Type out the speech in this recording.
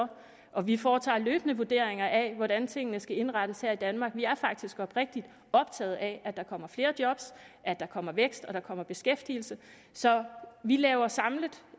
og vi foretager løbende vurderinger af hvordan tingene skal indrettes her i danmark vi er faktisk oprigtig optaget af at der kommer flere job at der kommer vækst at der kommer beskæftigelse så vi laver samlet